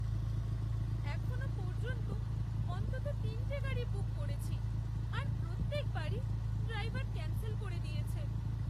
এখনও পর্যন্ত অন্তত তিনটে গাড়ি বুক করেছি, আর প্রত্যেক বারই ড্রাইভার ক্যান্সেল করে দিয়েছে।